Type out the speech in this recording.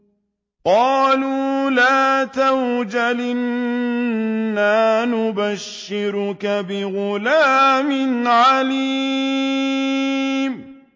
قَالُوا لَا تَوْجَلْ إِنَّا نُبَشِّرُكَ بِغُلَامٍ عَلِيمٍ